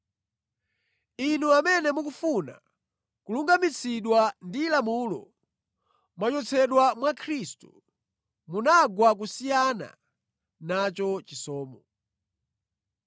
Inu amene mukufuna kulungamitsidwa ndi lamulo mwachotsedwa mwa Khristu; munagwa kusiyana nacho chisomo.